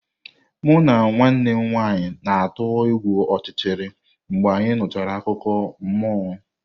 Mụ na nwanne m nwanyị na-atụ egwu ọchịchịrị mgbe anyị nụchara akụkọ mmụọ.